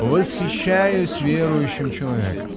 восхищаюсь верующим человеком